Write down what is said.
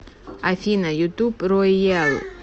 афина ютуб ройэл